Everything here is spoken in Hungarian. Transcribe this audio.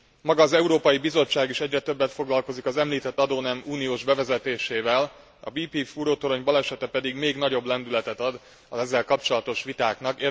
Maga az Európai Bizottság is egyre többet foglakozik az említett adónem uniós bevezetésével, a BP fúrótorony balesete pedig még nagyobb lendületet ad az ezzel kapcsolatos vitáknak.